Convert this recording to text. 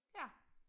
Ja